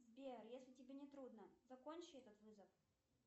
сбер если тебе не трудно закончи этот вызов